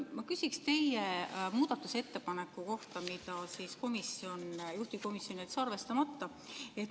Ma küsin teie muudatusettepaneku kohta, mille juhtivkomisjon jättis arvestamata.